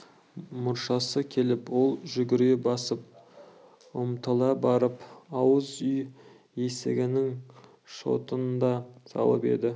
мұршасы келіп ол жүгіре басып ұмтыла барып ауыз үй есігінің шотын да салып еді